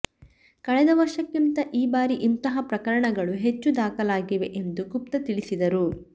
ಕಳೆದ ವರ್ಷಕ್ಕಿಂತ ಈ ಬಾರಿ ಇಂತಹ ಪ್ರಕರಣಗಳು ಹೆಚ್ಚು ದಾಖಲಾಗಿವೆ ಎಂದು ಗುಪ್ತಾ ತಿಳಿಸಿದರು